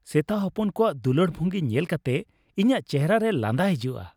ᱥᱮᱛᱟ ᱦᱚᱯᱚᱱ ᱠᱚᱣᱟᱜ ᱫᱩᱞᱟᱹᱲ ᱵᱦᱝᱜᱤ ᱧᱮᱞ ᱠᱟᱛᱮ ᱤᱧᱟᱹᱜ ᱪᱮᱦᱮᱨᱟ ᱨᱮ ᱞᱟᱸᱫᱟ ᱦᱤᱡᱩᱜᱼᱟ ᱾